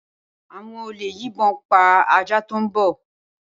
Awõn òlé yìnbon pá àjá to n gbó